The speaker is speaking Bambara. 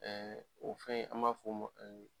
o fɛn an m'a fɔ o ma